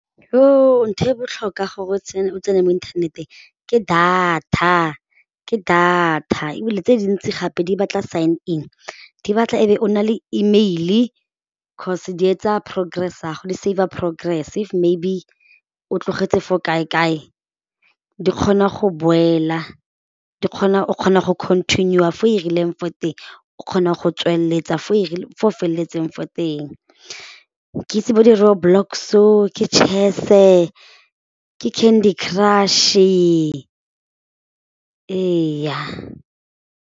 Ntho e botlhokwa gore o tsene mo inthaneteng ke data, ke data ebile tse dintsi gape di batla sync-in di batla e be o na le E mail cause di etsa progress ya go di saver progress if maybe o tlogetse fo kae-kae di kgona go boela di kgona, o kgona go continue-a fo e rileng fo teng o kgona go tsweletsa fo o feletseng fo teng ke itse bo di road blocks-o ke chess-e ke candy crush-e eya.